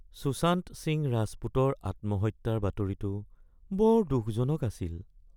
সুশান্ত সিং ৰাজপুতৰ আত্মহত্যাৰ বাতৰিটো বৰ দুখজনক আছিল।